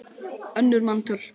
önnur manntöl